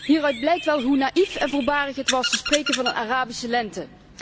Hieruit blijkt wel hoe naïef en voorbarig het was te spreken van een Arabische lente.